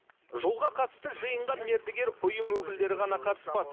жолға қатысты жиынға мердігер ұйым өкілдері ғана қатыспады